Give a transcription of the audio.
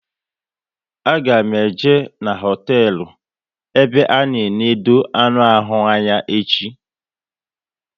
A ga m eje n'hotelu ebe a na enode anụ ahụ anya echi